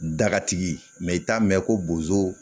Dagatigi mɛ i t'a mɛn ko bozoo